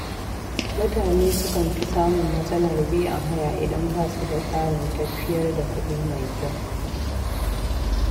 Mutane sukan fi samun matsalar biyan haya idan ba su da tsarin tafiyar da kuɗi mai kyau.